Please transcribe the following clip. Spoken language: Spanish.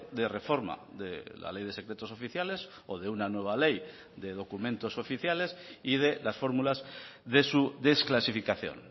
de reforma de la ley de secretos oficiales o de una nueva ley de documentos oficiales y de las fórmulas de su desclasificación